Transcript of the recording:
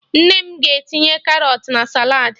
Nne m ga-etinye Karọt na saladị